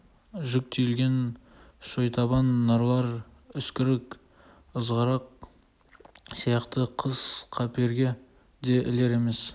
жүк тиелген шойтабан нарлар үскірік ызғырық сияқты қыс қаперге де ілер емес